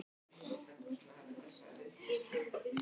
Andrúmsloftið sem við bjóðum börnum okkar er orðið eitrað.